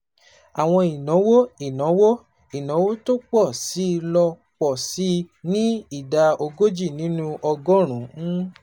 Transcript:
Àwọn ìnáwó ìnáwó ìnáwó tó pọ̀ sí i ló pọ̀ sí i ní ìdá ogójì nínú ọgọ́rùn-ún,